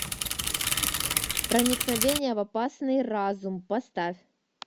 проникновение в опасный разум поставь